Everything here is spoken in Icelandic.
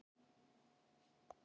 Afi kemur í kaffi á morgun.